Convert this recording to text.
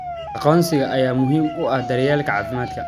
Aqoonsiga ayaa muhiim u ah daryeelka caafimaadka.